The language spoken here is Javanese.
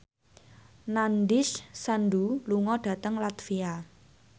Nandish Sandhu lunga dhateng latvia